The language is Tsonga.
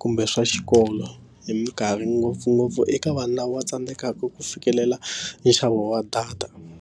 kumbe swa xikolo hi minkarhi ngopfungopfu eka vanhu lava va tsandzekaka ku fikelela nxavo wa data.